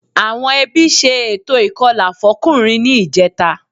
Àwọn ẹbí ṣe ètò ìkọlà fọ́kùnrin ní ìjẹta